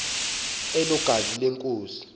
elo gazi lenkosi